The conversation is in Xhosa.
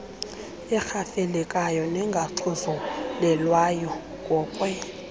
erhafelekayo engaxhuzulelwayo ngokwe